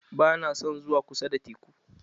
Ba na son zuwa kusa da teku.